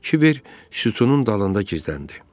Kiber sütunun dalında gizləndi.